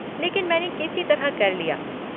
लेकिन मैंने किसी तरह कर लिया।